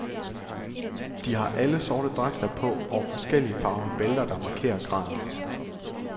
De har alle sorte dragter på og forskelligt farvede bælter der markerer graden.